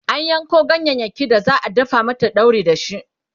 an Yanko ganyayaki da za'a dafa mata dauri dashi